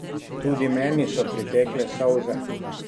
Tudi meni so pritekle solze.